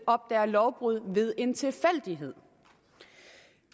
opdager lovbrud ved en tilfældighed